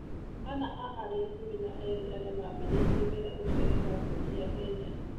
Ana a arĩa ikũmi na eerĩ arĩa maambĩrĩirie wĩra ũcioa nĩ kambuni cia Kenya.